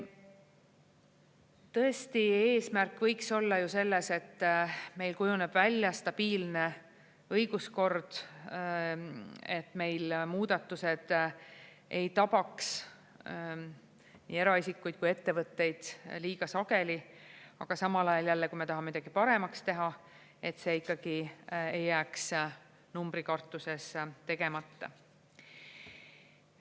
Tõesti, eesmärk võiks olla ju selles, et meil kujuneb välja stabiilne õiguskord, et meil muudatused ei tabaks nii eraisikuid kui ka ettevõtteid liiga sageli, aga samal ajal jälle, kui me tahame midagi paremaks teha, et see ikkagi ei jääks numbri kartuses tegemata.